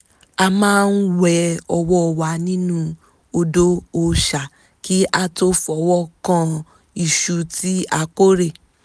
a máa ń wẹ ọwọ́ wa nínú odò òòṣà kí a tó fọwọ́ kan iṣu tí a kórè